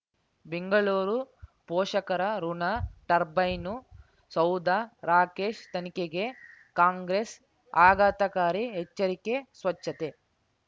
ಬೆಂಗಳೂರು ಪೋಷಕರಋಣ ಟರ್ಬೈನು ಸೌಧ ರಾಕೇಶ್ ತನಿಖೆಗೆ ಕಾಂಗ್ರೆಸ್ ಆಘಾತಕಾರಿ ಎಚ್ಚರಿಕೆ ಸ್ವಚ್ಛತೆ